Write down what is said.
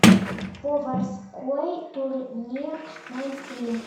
поварской турнир найти